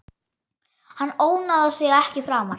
Hann ónáðar þig ekki framar.